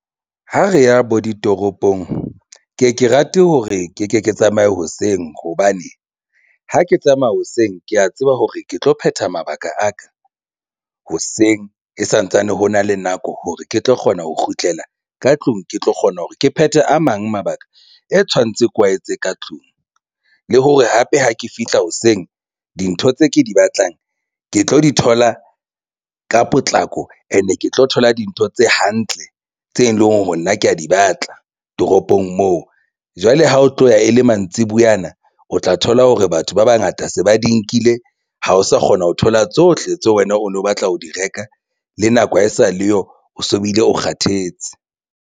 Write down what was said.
Ha re ya bo ditoropong ke ye ke rate hore ke ke ke tsamaya hoseng hobane ha ke tsamaya hoseng ke ya tseba hore ke tlo phetha mabaka aka hoseng ke santsane ho na le nako hore ke tlo kgona ho kgutlela ka tlung ke tlo kgona hore ke phethe a mang mabaka e tshwanetseng kwaetse ka tlung le hore hape ha ke fihla hoseng dintho tse ke di batlang ke tlo di thola ka potlako and-e ke tlo thola dintho tse hantle tse leng hore nna kea di batla toropong moo. Jwale ha o tlo ya ele mantsibuyana o tla thola hore batho ba bangata se ba di nkile ha o sa kgona ho thola tsohle tseo wena o no batla ho di reka le nako ha e sa le yo o so bile o kgathetse.